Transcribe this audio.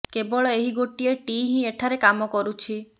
କେବଳ ଏହି ଗୋଟିଏ ଟି ହିଁ ଏଠାରେ କାମ କରୁଛି